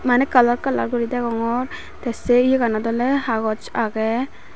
maneh kalar kalar guri degongor tey se yeganot oley haboch agey.